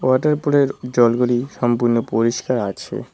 Water পুলের জলগুলি সম্পূর্ণ পরিষ্কার আছে।